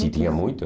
Se tinha muito?